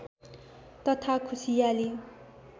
तथा खुशियाली